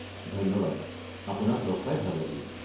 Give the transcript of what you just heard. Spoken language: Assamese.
ধন্যবাদ, আপোনাক লগ পাই ভাল লাগিল।